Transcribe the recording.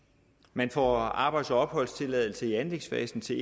man får arbejds og opholdstilladelse i anlægsfasen til